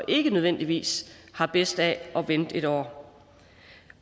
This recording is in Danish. ikke nødvendigvis har bedst af at vente en år